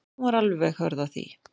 Hún var alveg hörð á því.